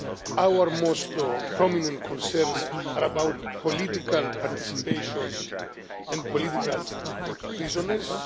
Our most prominent concerns are about political participation and political prisoners.